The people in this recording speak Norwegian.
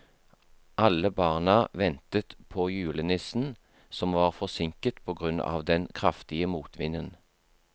Alle barna ventet på julenissen, som var forsinket på grunn av den kraftige motvinden.